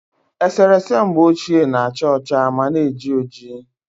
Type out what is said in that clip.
Eserese mgbe ochie na- acha ọcha ma na-eji oji